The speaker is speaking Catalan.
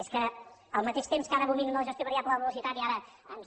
és que al mateix temps que ara abominen de la gestió variable de la velocitat i ara ens